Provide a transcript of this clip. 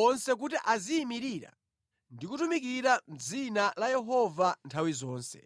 onse kuti aziyimirira ndi kutumikira mʼdzina la Yehova nthawi zonse.